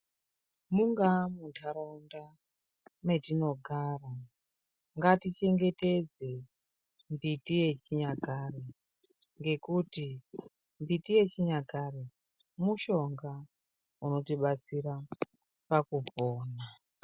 Mungava muntaraunda matinogara ngatichengetedze mbiti yechinyakare ngekuti mbiti yechinyakare mushonga unotibatsira pakupona .